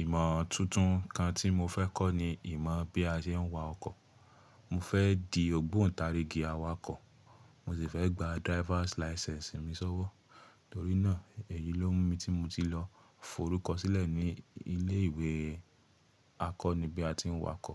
Ìmọ̀ tuntun kan tí mo fẹ́ kọ́ ni ìmọ̀ bí a ṣe ń wa ọkọ̀. Mo fẹ́ di ògbóǹtarigì awakọ̀, mo sì fẹ́ gba driver's license mi sọ́wọ́. Torí náà èyí ló mú mi tí mo ti lọ forúkọ sílẹ̀ ní ilé ìwé akọ́ní bí a tí wakọ̀